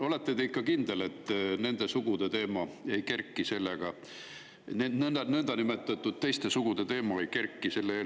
Olete te ikka kindel, et selle eelnõuga seoses nende niinimetatud teiste sugude teema üles ei kerki?